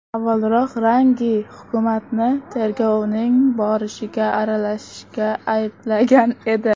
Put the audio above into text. Avvalroq Range hukumatni tergovning borishiga aralashishda ayblagan edi.